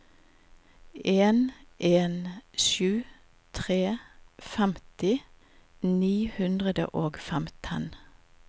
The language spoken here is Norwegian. en en sju tre femti ni hundre og femten